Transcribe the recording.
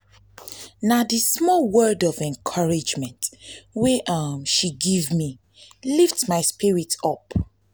na di small word of encouragement wey um she give me lift my spirit up.